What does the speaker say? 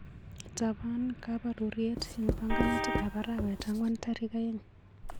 Itapan kabarutiet eng panganutikap arawetap ang'wan tarik aeng'.